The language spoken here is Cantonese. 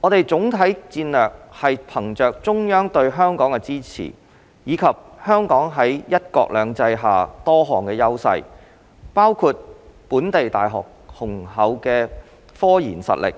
我們的總體戰略是憑藉中央對香港的支持，以及香港在"一國兩制"下多項優勢，包括本地大學的雄厚科研實力、